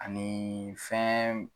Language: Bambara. Aniiii fɛn.